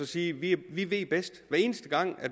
sige vi vi ved bedst hver eneste gang